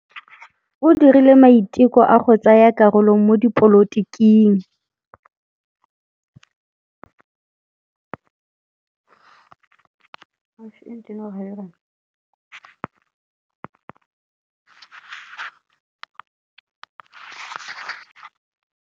O dirile maitekô a go tsaya karolo mo dipolotiking.